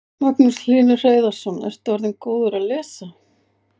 Magnús Hlynur Hreiðarsson: Ertu orðinn góður að lesa?